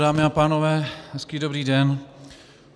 Dámy a pánové, hezký dobrý den.